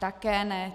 Také ne.